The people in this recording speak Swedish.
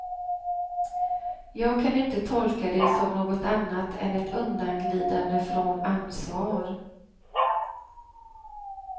Jag kan inte tolka det som något annat än ett undanglidande från ansvar.